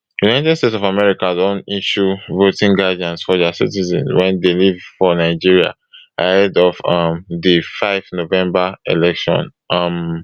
united states of america don issue voting guidance for dia citizens wey dey live for nigeria ahead of um di five november election um